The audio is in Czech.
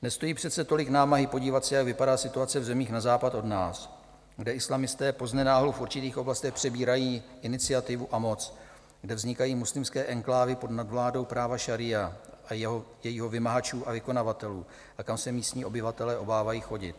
Nestojí přece tolik námahy podívat se, jak vypadá situace v zemích na západ od nás, kde islamisté poznenáhlu v určitých oblastech přebírají iniciativu a moc, kde vznikají muslimské enklávy pod nadvládou práva šaría a jeho vymahačů a vykonavatelů a kam se místní obyvatelé obávají chodit.